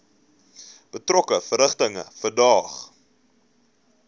betrokke verrigtinge verdaag